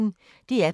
DR P1